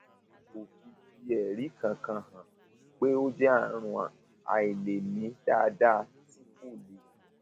kò fi fi ẹrí kankan hàn pé ó jẹ àrùn àìlèmí dáadáa tí kò le